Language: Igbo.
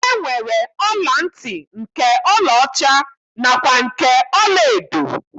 E nwere ọla ntị nke ọlaọcha nakwa nke ọlaedo